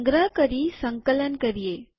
સંગ્રહ કરી અને સંકલન કરીએ